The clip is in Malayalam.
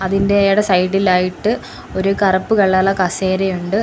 ഇതിന്റെ അയാടെ സൈഡ് ഇലായിട്ട് ഒരു കറുപ്പ് കളർ ഇലെ കസേര ഉണ്ട്.